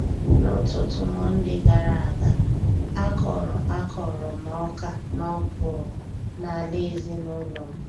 N'ụtụtụ Mọnde gara aga, a kọrọ a kọrọ m Ọkà na Ọkwụrụ n'ala ezinụlọ m.